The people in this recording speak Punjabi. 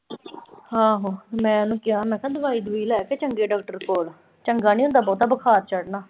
ਆਹੋ, ਮੈਂ ਉਹਨੂੰ ਕਿਹਾ ਕਿ ਦਵਾਈ-ਦਵੂਈ ਲੈ ਕਿਸੇ ਚੰਗੇ ਡਾਕਟਰ ਕੋਲ ਚੰਗਾ ਨੀਂ ਹੁੰਦਾ ਬਹੁਤ ਬੁਖਾਰ ਚੜਨਾ।